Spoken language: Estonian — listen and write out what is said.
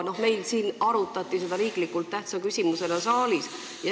Siin saalis arutati seda olulise tähtsusega riikliku küsimusena.